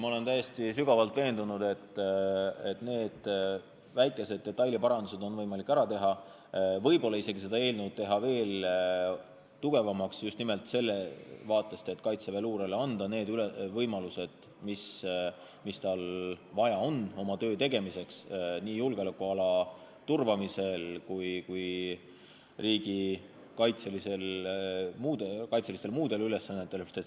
Ma olen sügavalt veendunud, et need väikesed detailiparandused on võimalik ära teha, võib-olla isegi teha seda seadust veel tugevamaks just nimelt sellest vaatest, et kaitseväeluurele anda need võimalused, mida tal on vaja oma töö tegemiseks nii julgeolekuala turvamisel kui ka muude riigikaitseliste ülesannete täitmisel.